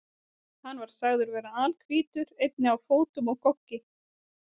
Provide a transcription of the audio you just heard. Hann var sagður vera alhvítur, einnig á fótum og goggi.